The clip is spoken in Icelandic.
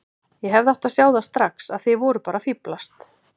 Ég hefði átt að sjá það strax að þið voruð bara að fíflast.